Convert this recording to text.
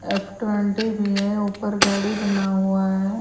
F twenty भी है ऊपर गाड़ी बना हुआ है।